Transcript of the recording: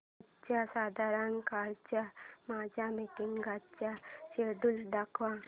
आज संध्याकाळच्या माझ्या मीटिंग्सचे शेड्यूल दाखव